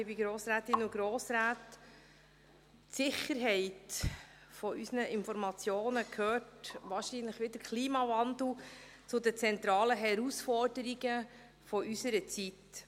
Die Sicherheit von unseren Informationen gehört wahrscheinlich wie der Klimawandel zu den zentralen Herausforderungen unserer Zeit.